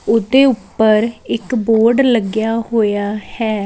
ਉਹਦੇ ਉੱਪਰ ਇੱਕ ਬੋਰਡ ਲੱਗਿਆ ਹੋਇਆ ਹੈ।